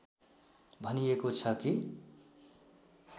भनिएको छ कि